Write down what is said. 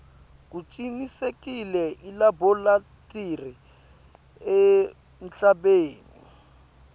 kucinisekise ilabholathri emhlabeni